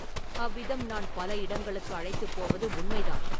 அவ்விதம் நான் பல இடங்களுக்கு அழைத்துப் போவது உண்மைதான்.